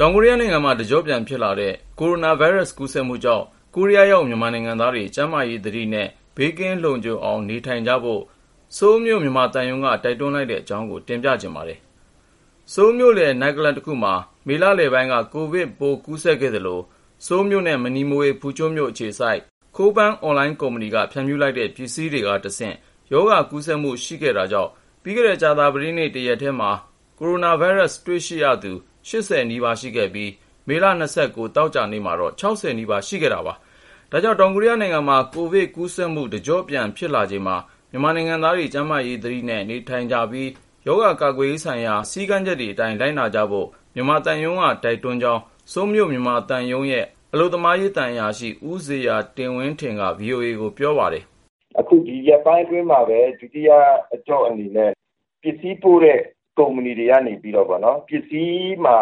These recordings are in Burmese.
ောင်ကိုရီးယားနိုင်ငံမှာ တကြော့ပြန်ဖြစ်လာတဲ့ ကိုရိုနာဗိုင်းရပ်စ် ကူးစက်မှုကြောင့် ကိုရီးယားရောက် မြန်မာနိုင်ငံသားတွေ ကျန်းမာရေးသတိနဲ့ ဘေးကင်းလုံခြုံအောင် နေထိုင်ကြဖို့ ဆိုးလ်မြို့ မြန်မာသံရုံးက တိုက်တွန်းလိုက်တဲ့ အကြောင်းကို တင်ပြချင်ပါတယ်။ ကိုဉာဏ်ဝင်းအောင် ပြောပြမှာပါ။ ဆိုးလ်မြို့လယ် နိုက်ကလပ်တခုမှာ မေလလယ်ပိုင်းက ကိုဗစ်ပိုး ကူးစက်ခဲ့သလို ၊ ဆိုးလ်နဲ့ မနီးမဝေး ဖူချွန်းမြို့အခြေစိုက်တဲ့ Coupangအွန်လိုင်းကုမ္ပဏီက ဖြန့်ဖြူးလိုက်တဲ့ ပစ္စည်းတွေကတဆင့် ရောဂါကူးစက်မှု ရှိခဲ့တာကြောင့် ပြီးခဲ့တဲ့ ကြာသပတေးနေ့ တရက်ထဲမှာ ကိုရိုနာဗိုင်းရပ်စ် တွေ့ရှိရသူ နီးပါးရှိခဲ့ပြီး ၊ မေလ သောကြာနေ့မှာတော့ နီးပါးရှိခဲ့တာပါ။ ဒါကြောင့် တောင်ကိုရီးယားနိုင်ငံမှာ ကိုဗစ်ကူးစက်မှု တကြော့ပြန်ဖြစ်လာချိန်မှာ မြန်မာနိုင်ငံသားတွေ ကျန်းမာရေးသတိနဲ့ နေထိုင်ပြီး ၊ ရောဂါကာကွယ်ရေးဆိုင်ရာ စည်းကမ်းချက်တွေအတိုင်း လိုက်နာကြဖို့ မြန်မာသံရုံးက တိုက်တွန်းကြောင်း ဆိုးလ်မြို့ မြန်မာသံရုံးရဲ့ အလုပ်သမားရေး သံအရာရှိ ဦးဇေယျာတင်ဝင်းထင်က VOA ကိုပြောပါတယ်။ " အခု ဒီရက်ပိုင်းအတွင်းမှာပဲ ဒုတိယ အကြော့အနေနဲ့ ပစ္စည်းပို့တဲ့ ကုမ္ပဏီကနေပြီး ပစ္စည်းမှာ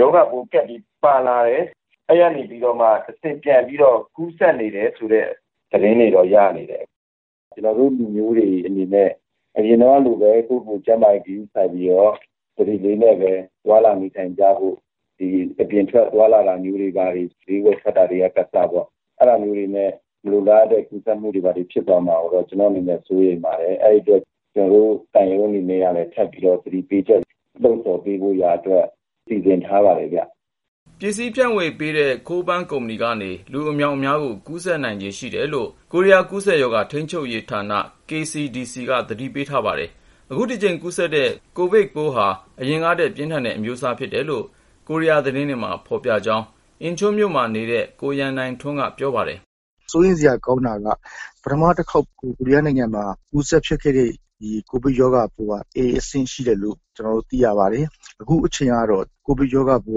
ရောဂါပိုးကပ်ပြီး ပါလာတယ်။ အဲဒီကနေပြီးတော့ တဆင့် ပြန်ကူးစက်နေတယ်ဆိုတဲ့ သတင်းတွေ ရနေတယ်။ ကျနော်တို့ လူမျိုးတွေအနေနဲ့ အရင်ကလိုပဲ ကိုယ့်ကိုယ်ကို ကျန်းမာရေး ဂရုစိုက်ပြီးတော့ သတိနဲ့ သွားလာနေထိုင်ကြဖို့ ၊ အပြင်ထွက် သွားလာတာမျိုးတွေ ဈေးဝယ်ထွက်တာတွေက အစပေါ့ အဲဒါမျိုးနဲ့ မလိုလားအပ်တဲ့ ကူးစက်မှု ဖြစ်မှာကိုတော့ ကျနော့်အနေနဲ့ စိုးရိမ်ပါတယ်။ အဲဒီအတွက် ကျနော်တို့ သံရုံးအနေနဲ့က ထပ်ပြီးတော့ သတိပေးချက် လှုံ့ဆော်သ ွားဖို့ရာအတွက် စီစဉ်ထားပါတယ်ခင်ဗျ။ " ပစ္စည်းဖြန့်ဝေရေး Coupang ကုမ္ပဏီကနေ လူအမြောက်အများကို ကူးစက်နိုင်ခြေရှိတယ်လို့ ကိုရီးယား ကူးစက်ရောဂါ ထိန်းချုပ်ရေးဌာန KCDC ကလည်း သတိပေးထားပါတယ်။ အခုတကြိမ် ကူးစက်တဲ့ ကိုဗစ်ပိုးဟာ အရင်ကထက် ပြင်းထန်တဲ့အမျိုးအစား ဖြစ်တယ်ဆိုတာ ကိုရီးယားသတင်းတွေမှာ ဖေါ်ပြကြောင်း အင်ချွန်းမြို့မှာနေတဲ့ ကိုရန်နိုင်ထ ွန်းက ပြောပါတယ်။ " စိုးရိမ်စရာ ကောင်းတာက ပထမတခေါက် ကိုရီးယားနိုင်ငံမှာ ကူးစက်ခဲ့တဲ့ ဒီ ကိုဗစ်ရောဂါပိုးဟာ အဆင့် ရှိတယ်လို့ သိရပါတယ်။ အခုတကြိမ်ကတော့ ကိုဗစ်ရောဂါပိုး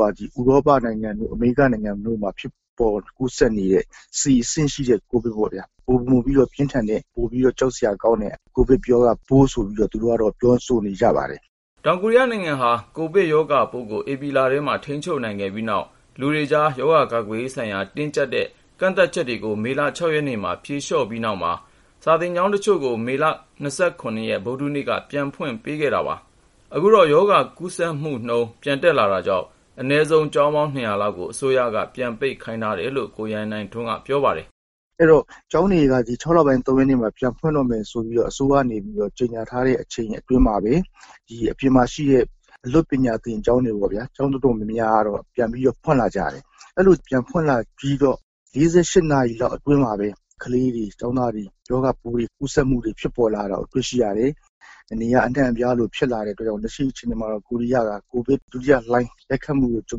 ဟာ ဥရောပနိုင်ငံတို့ အမေရိကနိုင်ငံတို့မှာ ဖြစ်ပေါ်ကူးစက်နေတဲ့ အဆင့်ရှိတဲ့ ပိုးမျိုးပေါ့။ ပိုမိုပြီး ပြင်းထန်တဲ့ ပိုပြီးကြောက်စရာကောင်းတဲ့ ကိုဗစ်ပိုး ဆိုပြီးတော့ သူတို့က ပြောဆိုနေကြပါတယ်။ " တောင်ကိုရီးယားနိုင်ငံဟာ ကိုဗစ်ရောဂါပိုးကို ဧပြီလထဲမှာ ထိန်းချုပ်နိုင်ခဲ့ပြီးနောက် လူတွေကြား ရောဂါကာကွယ်ရေးဆိုင်ရာ တင်းကြပ်တဲ့ ကန့်သတ်ချက်တွေကို မေလ ရက်မှာ ဖြေ လျော့လာပြီးနောက် စာသင်ကျောင်းတချို့ကို မေလ ဗုဒ္ဓဟူးနေ့က ပြန်ဖွင့်ပေးခဲ့တာပါ။ အခုတော့ ရောဂါကူးစက်မှုနှုန်း ပြန်တက်လာတာကြောင့် အနည်းဆုံး ကျောင်းပေါင်း လောက်ကို အစိုးရက ပြန်ပိတ်ခိုင်းလိုက်တယ်လို့ ကိုရန်နိုင်ထွန်းက ပြောပါတယ်။ " အဲဒီတော့ ကျောင်းတွေက ဇွန်လ ၃ ရက်မှာ ပြန်ဖွင့်တော့မယ်ဆိုပြီး အစိုးရက ကြေညာထားတဲ့ အချိန်အတောအတွင်းမှာပဲ ၊ အပြင်မှာရှိတဲ့ အလွတ်ပညာသင်ကျောင်း အတော်များများကတော့ ပြန်ဖွင့်လာကြတယ် ။ အဲလို ပြန်ဖွင့်လာပြီး ၄၈ နာရီလောက် အတွင်းမှာပဲ ကလေးတွေ ကျောင်းသားတွေ ရောဂါပိုး ကူးစက်မှု ဖြစ်ပေါ်လာတာကို တွေ့ရတယ်။ နေရာအနှံ့အပြားလိုလိုမှာ ဖြစ်လာတဲ့အတွက်ကြောင့် လက်ရှိအခြေနေမှာတော့ ကိုရီးယားဟာ ကိုဗစ် ဒုတိယလှိုင်းရိုက်ခတ်မှုကို ကြုံ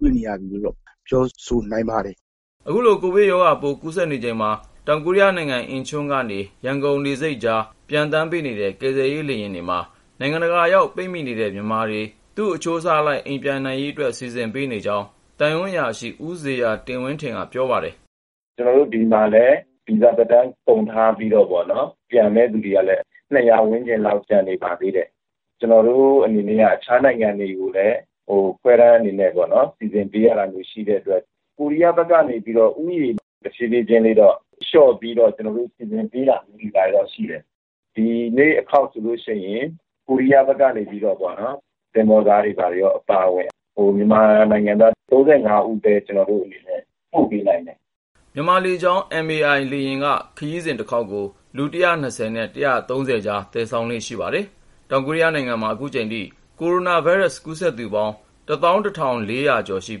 တွေ့နေရပြီလို့ ပြောလို့ရနိုင်ပါတယ်။ " အခုလို ကိုဗစ်ရောဂါပိုး ကူးစက်နေချိန်မှာ တောင်ကိုရီးယားနိုင်ငံ အင်ချွန်းလေဆိပ်ကနေ ရန်ကုန်လေဆိပ်ကြား ပျံသန်းပေးနေတဲ့ ကယ်ဆယ်ရေး လေယာဉ်တွေမှာ နိုင်ငံတကာရောက် ပိတ်မိနေတဲ့ မြန်မာတွေ သူ့အချိုးအစားအလိုက် အိမ်ပြန်နိုင်ရေးအတွက် စီစဉ်ပေးနေကြောင်း သံအရာရှိ ဦးဇေယျာတင်ဝင်းထင်က က ပြောပါတယ်။ " ကျနော်တို့ ဒီမှာလည်း ဗီဇာသက်တမ်းကုန်ပြီး ပြန်ဖို့ စောင့်နေသူ ၂၀၀ ဝန်းကျင်လောက် ကျန်နေပါသေးတယ် ။ ကျနော်တို့ အနေနဲ့က အခြားနိုင်ငံတွေကိုလည်း ခ ွဲတမ်းအနေနဲ့ စီစဉ်ပေးရတာမျိုး ရှိတဲ့အတွက် ကိုရီးယားဘက်ကလိုက်မယ့် လူဦးရေ တဖြည်းဖြည်းချင်း လျှော့ပြီးတော့ စီစဉ်နေတာတွေတော့ ရှိတယ်။ ဒီ သောကြာနေ့ အခေါက်မှာဆိုရင် ကိုရီးယားဘက်ကနေပြီးတော့ပေါ့နော် သင်္ဘောသားတွေ ဘာတွေ အပါအဝင် မြန်မာနိုင်ငံသား ၃၅ ဦးကိုပဲ ပို့ပေးနိုင်တယ်။ " မြန်မာလေကြောင်းလိုင်း MAI ဟာ ခရီးစဉ်တခေါက်ကို လူ နဲ့ ကြား သယ်ဆောင်လေ့ ရှိပါတယ်။ မေလ ၂၉ သောကြာနေ့ အင်ချွန်းကနေ ရန်ကုန်ပျံသန်းတဲ့ လေယာဉ်ပေါ်မှာ မြန်မာနိုင်ငံသား ၉၄ ဦး ပါဝင်တယ်လို့ ဆိုးလ် မြန်မာသံရုံးက ပြောပါတယ်။ တောင်ကိုရီးယားမှာ အခုချိန် ကိုရိုနာဗိုင်းရပ်စ် ကူးစက်သူပေါင်း ကျော်ရှိ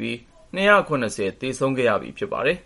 ပြီး ၊ နီးပါး သေဆုံးခဲ့ပြီဖြစ်ပါတယ်။